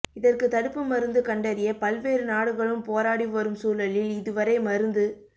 இதற்கு தடுப்பு மருந்து கண்டறிய பல்வேறு நாடுகளும் போராடி வரும் சூழலில் இதுவரை மருந்து